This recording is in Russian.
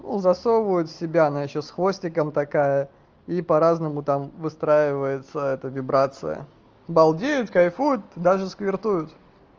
ну засовывают в себя она ещё с хвостиком такая и по-разному там выстраивается это вибрация балдеют кайфуют даже сквиртуют